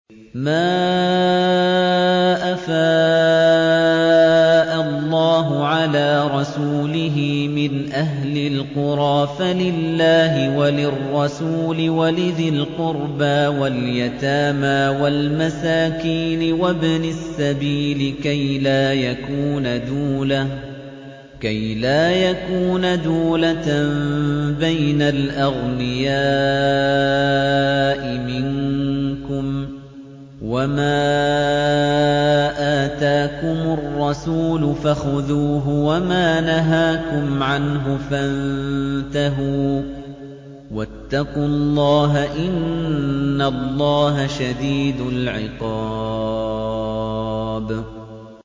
مَّا أَفَاءَ اللَّهُ عَلَىٰ رَسُولِهِ مِنْ أَهْلِ الْقُرَىٰ فَلِلَّهِ وَلِلرَّسُولِ وَلِذِي الْقُرْبَىٰ وَالْيَتَامَىٰ وَالْمَسَاكِينِ وَابْنِ السَّبِيلِ كَيْ لَا يَكُونَ دُولَةً بَيْنَ الْأَغْنِيَاءِ مِنكُمْ ۚ وَمَا آتَاكُمُ الرَّسُولُ فَخُذُوهُ وَمَا نَهَاكُمْ عَنْهُ فَانتَهُوا ۚ وَاتَّقُوا اللَّهَ ۖ إِنَّ اللَّهَ شَدِيدُ الْعِقَابِ